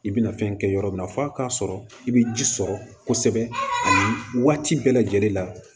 I bɛna fɛn kɛ yɔrɔ min na f'a k'a sɔrɔ i bɛ ji sɔrɔ kosɛbɛ ani waati bɛɛ lajɛlen la